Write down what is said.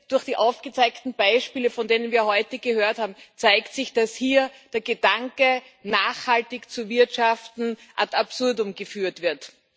Durch die aufgezeigten Beispiele, von denen wir heute gehört haben, zeigt sich, dass hier der Gedanke, nachhaltig zu wirtschaften, ad absurdum geführt wird.